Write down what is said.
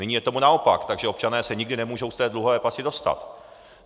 Nyní je tomu naopak, takže občané se nikdy nemůžou z té dluhové pasti dostat.